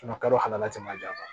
kalo la tɛmɛ jan